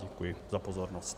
Děkuji za pozornost.